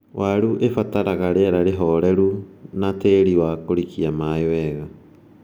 Waru ibataraga rĩera ihoreru na tĩri wa kũrikia maĩĩ wega